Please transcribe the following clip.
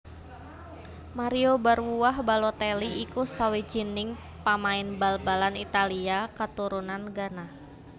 Mario Barwuah Balotelli iku sawijining pamain bal balan Italia katurunan Ghana